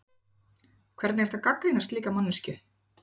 Hvernig er hægt að gagnrýna slíka manneskju?